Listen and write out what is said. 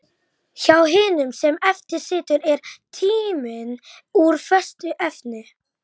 Og við kinkuðum kolli, komum ekki upp fleiri orðum.